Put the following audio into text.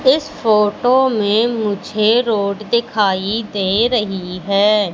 इस फोटो में मुझे रोड दिखाई दे रही है।